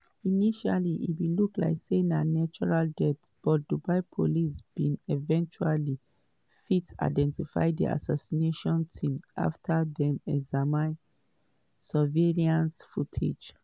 initially e bin look like say na natural death but dubai police bin eventually fit identify di assassination team afta dem examine surveillance footage.